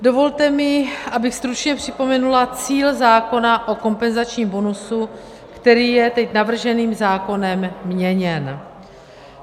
Dovolte mi, abych stručně připomenula cíl zákona o kompenzačním bonusu, který je teď navrženým zákonem měněn.